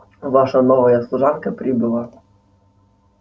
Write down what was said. ваша новая служанка прибыла